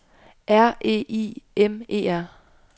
R E I M E R